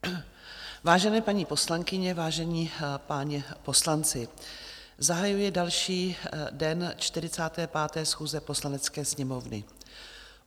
Vážené paní poslankyně, vážení páni poslanci, zahajuji další den 45. schůze Poslanecké sněmovny.